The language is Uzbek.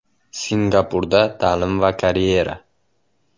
Singapurda ta’lim va karyera.